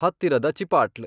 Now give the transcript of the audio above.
ಹತ್ತಿರದ ಚಿಪಾಟ್ಲ್